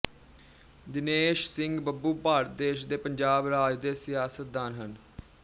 ਦਿਨੇਸ਼ ਸਿੰਘ ਬੱਬੂ ਭਾਰਤ ਦੇਸ਼ ਦੇ ਪੰਜਾਬ ਰਾਜ ਦੇ ਸਿਆਸਤਦਾਨ ਹਨ